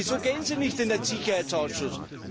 Wieso gehen Sie nicht in den Sicherheitsausschuss?